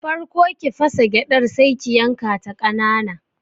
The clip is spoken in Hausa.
Farko ki fasa gyadar Sai ki yankata kanana.